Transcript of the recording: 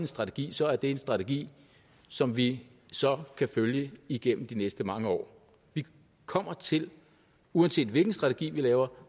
strategi så er det en strategi som vi så kan følge igennem de næste mange år vi kommer til uanset hvilken strategi vi laver